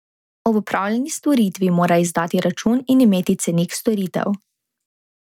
Ob opravljeni storitvi mora izdati račun in imeti cenik storitev.